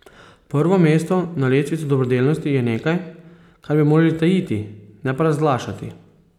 Prvo mesto na lestvici dobrodelnosti je nekaj, kar bi morali tajiti, ne pa razglašati.